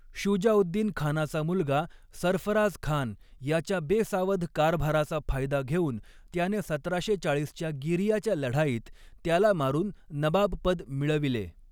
शुजाउद्दीनखानाचा मुलगा सर्फराझखान याच्या बेसावध कारभाराचा फायदा घेऊन त्याने सतराशे चाळीसच्या गिरियाच्या लढाईत त्याला मारून नबाबपद मिळविले.